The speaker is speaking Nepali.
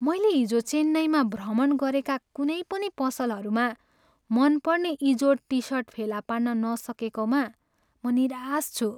मैले हिजो चेन्नईमा भ्रमण गरेका कुनै पनि पसलहरूमा मनपर्ने इजोड टिसर्ट फेला पार्न नसकेकोमा म निराश छु।